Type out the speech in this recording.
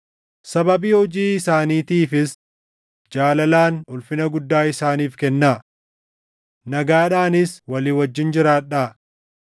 Sababii hojii isaaniitiifis jaalalaan ulfina guddaa isaaniif kennaa. Nagaadhaanis walii wajjin jiraadhaa.